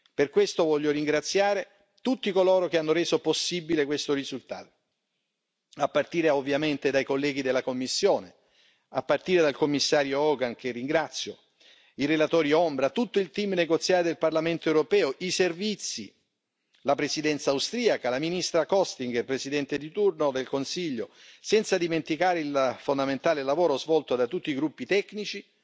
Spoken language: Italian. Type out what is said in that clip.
Per questo voglio ringraziare tutti coloro che hanno reso possibile questo risultato, a partire ovviamente dai colleghi della Commissione, a partire dal Commissario Hogan, che ringrazio, i relatori ombra, tutto il team negoziale del Parlamento europeo, i servizi, la Presidenza austriaca, la ministra Elisabeth Kostinger, Presidente di turno del Consiglio, senza dimenticare il fondamentale lavoro svolto da tutti i gruppi tecnici